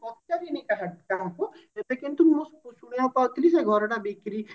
ପଚାରିନି କାହା କାହାକୁ ଏବେ କିନ୍ତୁ ମୁଁ ଶୁଣିବାକୁ ପାଉଥିଲି ଯେ ସେ ଘରଟା ବିକ୍ରୀ